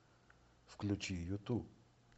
включи юту